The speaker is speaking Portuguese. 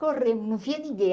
Corremos, não vinha ninguém,